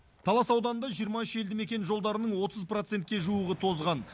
талас ауданында жиырма үш елді мекен жолдарының отыз процентке жуығы тозған